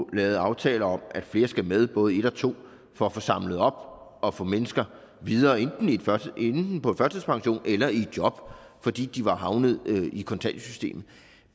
lavet aftale om at flere skal med både i en og to for at få samlet op og få mennesker videre enten på førtidspension eller i job fordi de var havnet i kontanthjælpssystemet